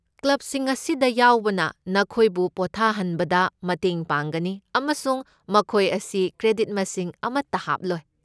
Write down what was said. ꯀ꯭ꯂꯕꯁꯤꯡ ꯑꯁꯤꯗ ꯌꯥꯎꯕꯅ ꯅꯈꯣꯏꯕꯨ ꯄꯣꯠꯊꯥꯍꯟꯕꯗ ꯃꯇꯦꯡ ꯄꯥꯡꯒꯅꯤ, ꯑꯃꯁꯨꯡ ꯃꯈꯣꯏ ꯑꯁꯤ ꯀ꯭ꯔꯦꯗꯤꯠ ꯃꯁꯤꯡ ꯑꯃꯠꯇ ꯍꯥꯞꯂꯣꯏ꯫